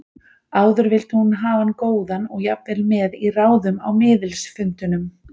Áður vildi hún hafa hann góðan og jafnvel með í ráðum á miðilsfundunum.